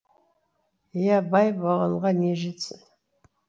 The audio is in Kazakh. иә бай болғанға не жетсін